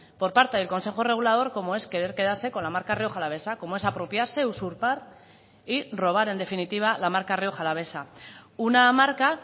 por parte del consejo regulador como es querer quedarse con la marca rioja alavesa como es apropiarse usurpar y robar en definitiva la marca rioja alavesa una marca